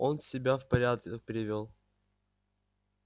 он себя в порядок привёл